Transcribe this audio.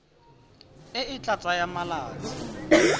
e e tla tsaya malatsi